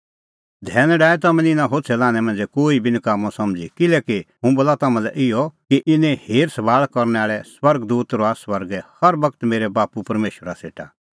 धैन डाहै तम्हैं निं इना होछ़ै लान्हैं मांझ़ै कोही बी नकाम्मअ समझ़ी किल्हैकि हुंह बोला तम्हां लै इहअ कि इने हेरसभाल़ करनै आल़ै स्वर्ग दूत रहा स्वर्गै हर बगत मेरै बाप्पू परमेशरा सेटा